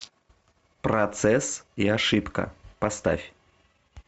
процесс и ошибка поставь